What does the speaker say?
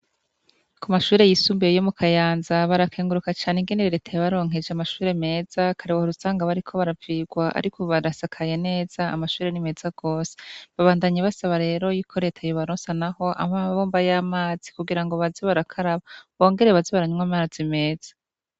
Ku mashure yisumbuye yo mu Kayanza, barakenguruka cane ingene leta yabaronkeje amashure meza. Kare wahora usanga ariko arasigwa, ariko ubu arasakaye neza, amashure ni meza gose. Babandanya basaba leta yuko yobaronsa naho amabomba y'amazi, kugira baze barakaraba, bongere baze baranywa amazi meza.